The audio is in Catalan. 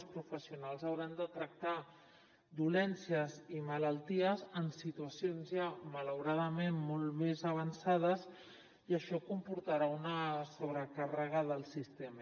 els professionals hauran de tractar dolències i malalties en situacions ja malauradament molt més avançades i això comportarà una sobrecàrrega del sistema